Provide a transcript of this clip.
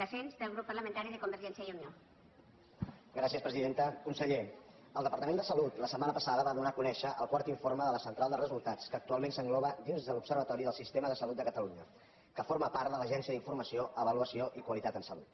conseller el departament de salut la setmana passada va donar a conèixer el quart informe de la central de resultats que actualment s’engloba dins de l’observatori del sistema de salut de catalunya que forma part de l’agència d’informació avaluació i qualitat en salut